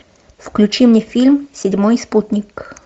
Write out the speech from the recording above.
включи мне фильм седьмой спутник